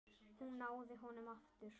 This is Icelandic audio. Hún náði honum aftur.